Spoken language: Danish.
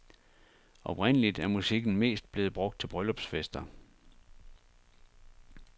Oprindeligt er musikken mest blevet brugt til bryllupsfester.